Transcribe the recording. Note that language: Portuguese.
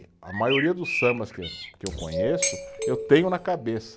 A maioria dos sambas que eu, que eu conheço, eu tenho na cabeça.